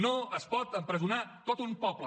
no es pot empresonar tot un poble